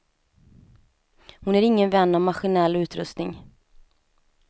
Hon är ingen vän av maskinell utrustning.